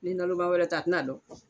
Ni naloman wɛrɛ tɛ a tɛn'a dɔn